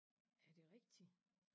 Er det rigtigt?